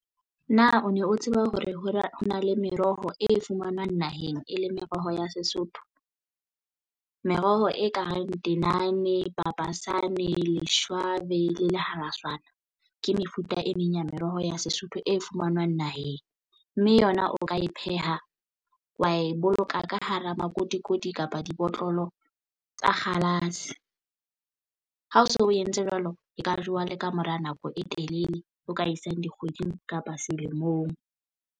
Na o ne o tseba hore ho na ho na le meroho e fumanwang naheng e le meroho ya Sesotho? Meroho e kareng tenane papasane leshwabe le le haratshwana ke mefuta e meng ya meroho ya Sesotho e fumanwang naheng, mme yona o ka e pheha, wa e boloka ka hara makotikoti kapa dibotlolo tsa kgalase. Ha o so o entse jwalo e ka jowa le ka mora nako e telele o ka isang dikgweding kapa selemong.